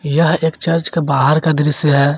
यह एक चर्च के बाहर का दृश्य है।